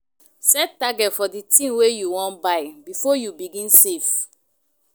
Set target for di thing wey you wan buy before you begin save